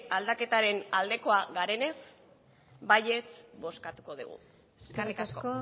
aldaketaren aldekoak garenez baietz bozkatuko dugu eskerrik asko